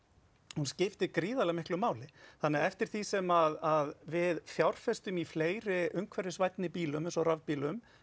hún skiptir gríðarlega miklu máli þannig eftir því sem við fjárfestum í fleiri umhverfisvænni bílum eins og rafbílum